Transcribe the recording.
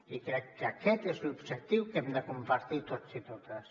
i crec que aquest és l’objectiu que hem de compartir tots i totes